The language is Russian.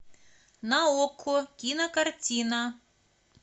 на окко кинокартина